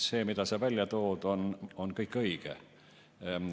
See, mida sa välja tood, on kõik õige.